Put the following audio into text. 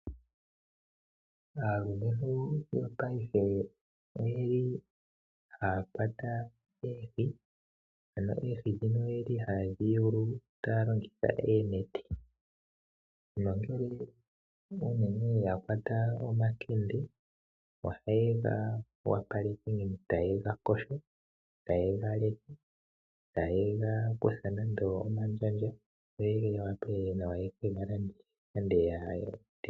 Aalumentu yopaife oyeli haya kwata oohi . Oyeli haya yulu oohi taya longitha oonete nongele unene yakwata omakende , ohayega opaleke, tayega yogo , tayega kutha nande omandjandja , opo yawape yekega landithe.